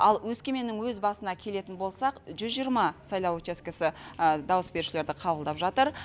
ал өскеменнің өз басына келетін болсақ жүз жиырма сайлау учаскісі дауыс берушілерді қабылдап жатыр